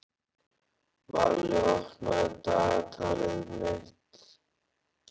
Valli, opnaðu dagatalið mitt.